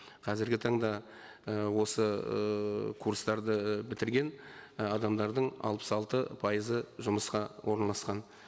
қазіргі таңда і осы ыыы курстарды і бітірген і адамдардың алпыс алты пайызы жұмысқа орналасқан